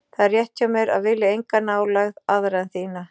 Það er rétt hjá mér að vilja enga nálægð aðra en þína.